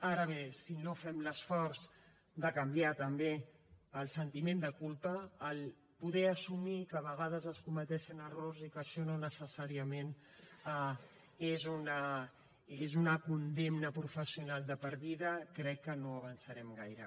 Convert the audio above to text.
ara bé si no fem l’esforç de canviar també el sentiment de culpa poder assumir que a vegades es cometen errors i que això no necessàriament és una condemna professional de per vida crec que no avançarem gaire